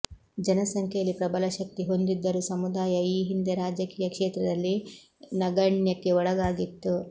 ಜನಸಂಖ್ಯೆಯಲ್ಲಿ ಪ್ರಬಲ ಶಕ್ತಿ ಹೊಂದಿದ್ದರೂ ಸಮುದಾಯ ಈ ಹಿಂದೆ ರಾಜಕೀಯ ಕ್ಷೇತ್ರದಲ್ಲಿ ನಗಣ್ಯಕ್ಕೆ ಒಳಗಾಗಿತ್ತು